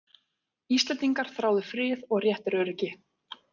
Íslendingar þráðu frið og réttaröryggi.